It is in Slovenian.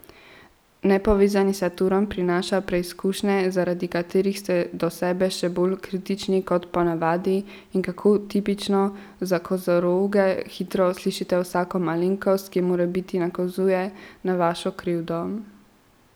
Nepovezani Saturn prinaša preizkušnje, zaradi katerih ste do sebe še bolj kritični kot po navadi in, kako tipično za kozoroge, hitro slišite vsako malenkost, ki morebiti nakazuje na vašo krivdo.